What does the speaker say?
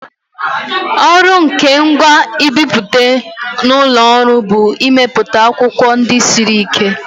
Ọrụ nke ngwa nbipute n'ụlọ ọrụ bụ imepụta akwụkwọ ndị siri ike.